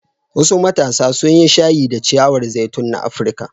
Wasu matasa sun yi shayi da ciyawar zaitun na Afirka.